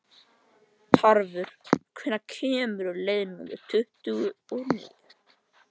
Tarfur, hvenær kemur leið númer tuttugu og níu?